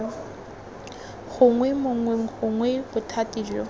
gongwe mongwe gongwe bothati jo